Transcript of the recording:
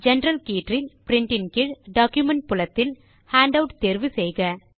general கீற்றில் print கீழ் document புலத்தில் ஹேண்டவுட் தேர்வு செய்க